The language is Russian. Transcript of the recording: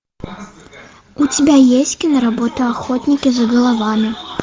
у тебя есть киноработа охотники за головами